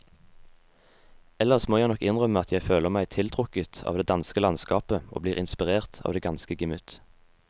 Ellers må jeg nok innrømme at jeg føler meg tiltrukket av det danske landskap og blir inspirert av det danske gemytt.